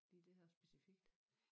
Lige det her specifikt